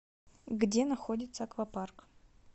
где находится аквапарк